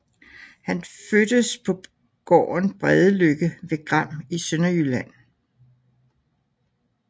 Han fødtes på gården Bredeløkke ved Gram i Sønderjylland